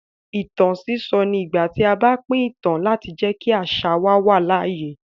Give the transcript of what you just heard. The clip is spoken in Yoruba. Ìtàn sísọ ni ìgbà tí a bá pín ìtàn láti jẹ́ kí àṣà wa wà láàyè.